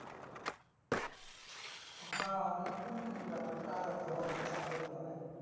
হো মানে company ইর ব্যাপারটা আলাদা অত চাপের লই